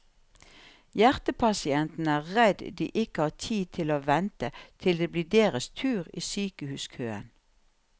Hjertepasientene er redd de ikke har tid til å vente til det blir deres tur i sykehuskøen.